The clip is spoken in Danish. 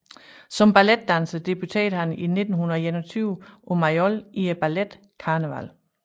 Som balletdanser debuterede han i 1921 på Mayol i balletten Carneval